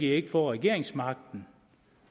i ikke få regeringsmagten